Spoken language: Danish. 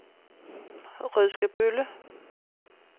Rødskebølle